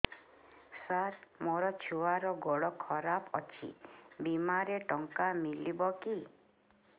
ସାର ମୋର ଛୁଆର ଗୋଡ ଖରାପ ଅଛି ବିମାରେ ଟଙ୍କା ମିଳିବ କି